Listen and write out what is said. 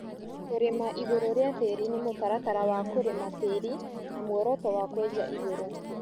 Kũrĩma igũrũ rĩa tĩri nï mũtaratara wa kũrĩma tĩri na mworoto wa kwenja igũrũ